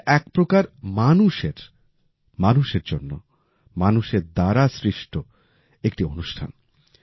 এটা একপ্রকার মানুষের মানুষের জন্য মানুষের দ্বারা সৃষ্ট একটি অনুষ্ঠান